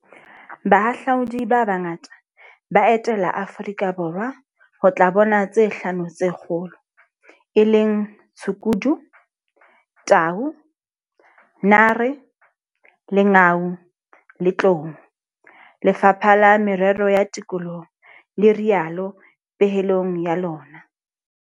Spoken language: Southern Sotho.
Bahahlaudi ba bangata ba etela Aforika Borwa ho tla bona tse Hlano tse Kgolo, e leng tshukudu, tau, nare, lengau le tlou, Lefapha la Merero ya Tikoloho le rialo pehelong ya lona.